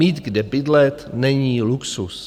Mít kde bydlet není luxus.